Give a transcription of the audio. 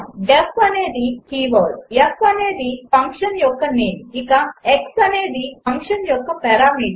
D E F అనేది keyword f అనేది function యొక్క నేమ్ ఇక x అనేది ఫంక్షన్ యొక్క పరామీటర్